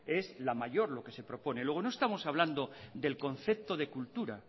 es la mayor lo que se propone luego no estamos hablando del concepto de cultura